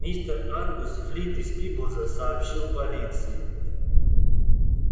мистер ангус флит из пиблза сообщил полиции